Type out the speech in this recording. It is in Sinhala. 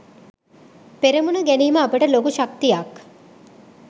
පෙරමුණ ගැනීම අපට ලොකු ශක්තියක්.